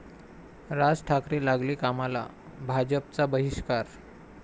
राज ठाकरे लागले कामाला, भाजपचा बहिष्कार!